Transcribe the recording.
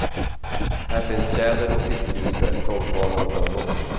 Här finns tjäder och fiskgjuse, sångsvanar och tranor.